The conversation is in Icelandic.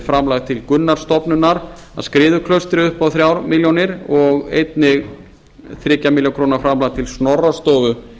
framlag til gunnarsstofnunar að skriðuklaustri upp á þrjár milljónir og einnig þriggja milljóna króna framlag til snorrastofu